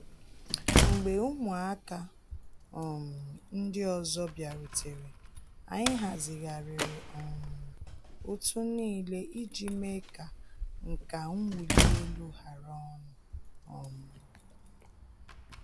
Mgbe ụmụaka um ndi ọzọ bịarutere, anyị hazigharịrị um òtù niile iji mee ka nka nwuli elu hara ọnụ um.